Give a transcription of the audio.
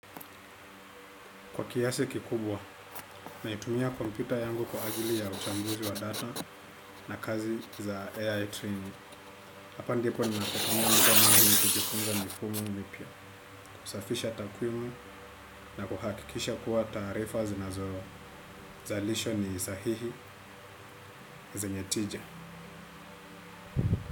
Kwa kiasi kikubwa, naitumia kompyuta yangu kwa ajili ya uchambuzi wa data na kazi za AI training. Hapa ndipo ninapotuia muda mwingi na kujifunza mifumo mpya, kusafisha takwimu na kuhakikisha kuwa tarifa zinazozalishwa ni sahihi zenye tija.